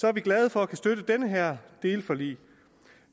er vi glade for kunne støtte den her del af forliget